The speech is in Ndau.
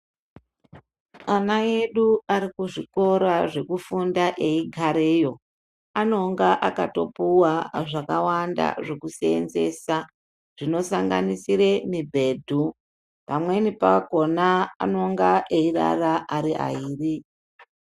Ana edu arikuzvikora eigareyo anonga akatopuwa zvekusenzesa zvinosanganisire mubhedhu pamweni pakona anonga eirara ari airi .